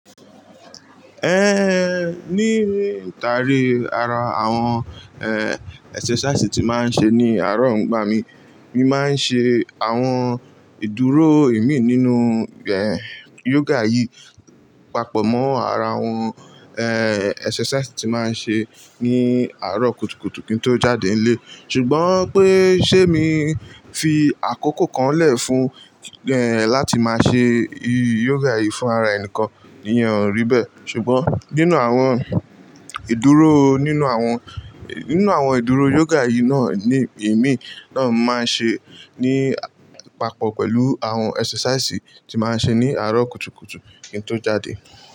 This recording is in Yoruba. Ní ìrìntànì ara àwọn, ẹ́, exercise tí máa ń ṣe ní àárọ̀ ń gba mi. Mi máa ń ṣe àwọn ìdúró ìmí nínú, yoga yìí papọ̀ mọ́ ara àwọn, exercise tí máa ń ṣe ní àárọ̀ kùtukùtù kí n tó jáde ilé. Ṣùgbọ́n pé ṣé mi fi àkókò kan lẹ̀ fún, láti máa ṣe yoga yìí fún ara ẹnìkan, iyẹn ò rí bẹ́ẹ̀. Ṣùgbọ́n nínú àwọn ìdúró, nínú àwọn, nínú àwọn ìdúró yoga yìí náà ní ìmí náà máa ń ṣe ní papọ̀ pẹ̀lú àwọn exercise tí máa ń ṣe ní àárọ̀ kùtukùtù kí n tó jáde.